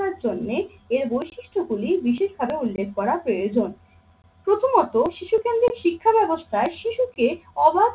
জন্যে এর বৈশিষ্ট্য গুলি বিশেষভাবে উল্লেখ করা প্রয়োজন। প্রথমত শিশু কেন্দ্রিক শিক্ষা ব্যাবস্থায় শিশুকে অবাধ